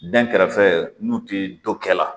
Dɛnkɛrɛfɛ n'u ti dɔ kɛ la